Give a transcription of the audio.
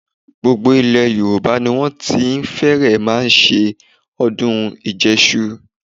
Gbogbo ilẹ̀ Yorùbá ni wọ́n ti fẹ́rẹ̀ẹ́ máa ṣe ọdún ìjẹṣu.